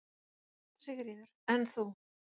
Sigríður: En þú?